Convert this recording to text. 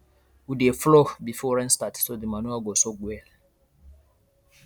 we dey plough before rain start so the manure go soak well